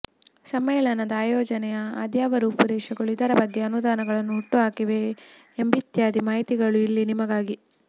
ಸಮ್ಮೇಳನದ ಆಯೋಜನೆಯ ಅದ್ಯಾವ ರೂಪುರೇಷೆಗಳು ಇದರ ಬಗ್ಗೆ ಅನುಮಾನಗಳನ್ನು ಹುಟ್ಟುಹಾಕಿವೆ ಎಂಬಿತ್ಯಾದಿ ಮಾಹಿತಿಗಳು ಇಲ್ಲಿ ನಿಮಗಾಗಿ